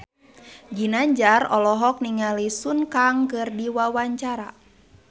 Ginanjar olohok ningali Sun Kang keur diwawancara